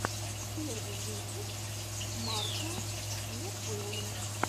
первый выпуск марко не поло